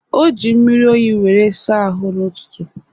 O ji mmiri oyi were saa ahụ n'ụtụtụ